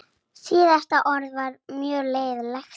Síðasta ár var mjög lélegt.